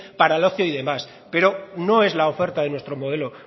para el ocio y demás pero no es la oferta de nuestro modelo